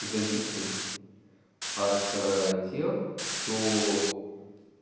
зависим от тех кто